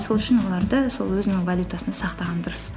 сол үшін оларды сол өзінің валютасында сақтаған дұрыс